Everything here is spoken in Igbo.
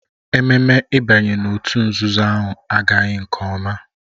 Ememme ịbanye n'òtù nzuzo ahụ agaghị nke ọma